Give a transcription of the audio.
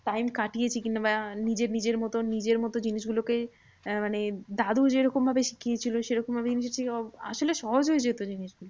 Time কাটিয়েছি কিংবা নিজের নিজের মতো নিজের মতো জিনিসগুলোকে আহ মানে দাদু যেরকম ভাবে শিখিয়েছিলো সেরকম ভাবে আসলে সহজ হয়ে যেত জিনিসগুলো।